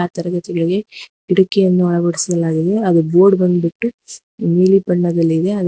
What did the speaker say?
ತರಗತಿಗಳಿಗೆ ಕಿಟ್ಟಕಿಯನ್ನು ಅಳವಡಿಸಲಾಗಿದೆ ಹಾಗು ಬೋರ್ಡ್ ಬಂದ್ಬಿಟ್ಟು ನೀಲಿ ಬಣ್ಣದಲ್ಲಿದೆ ಅ--